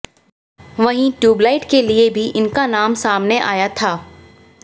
वहीं ट्यूबलाइट के लिए भी इनका नाम सामने आया था